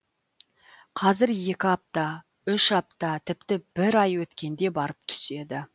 қазір екі апта үш апта тіпті бір ай өткенде барып түседі